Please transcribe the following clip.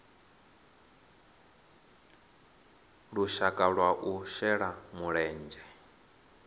lushaka lwa u shela mulenzhe